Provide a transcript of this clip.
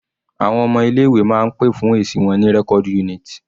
Àwọn ọmọ ilé ìwé máa ń pè fún èsì wọn ní record unit.